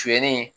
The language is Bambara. Suɲɛni